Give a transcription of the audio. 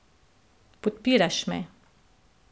Podpiraš me.